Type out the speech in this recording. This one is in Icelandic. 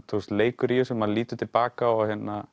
leikur í þessu maður lítur til baka og